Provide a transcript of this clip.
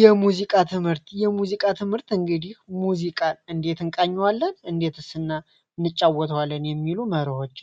የሙዚቃ ትምህርት የሙዚቃ ትምህርት እንግዲ ሙዚቃ እንዴት ቃየዋለን እንዴት እና እንጫወተዋለን የሚሉ መርሆች